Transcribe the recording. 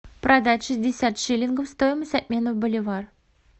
продать шестьдесят шиллингов стоимость обмена в боливар